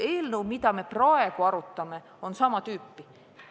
Eelnõu, mida me praegu arutame, on sama tüüpi.